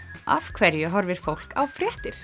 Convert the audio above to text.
af hverju horfir fólk á fréttir